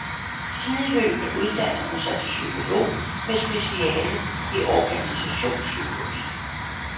Sideløbende uddannede hun sig til psykolog med speciale i organisationspsykologi.